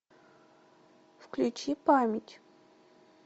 включи память